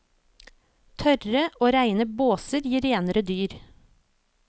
Tørre og reine båser gir renere dyr.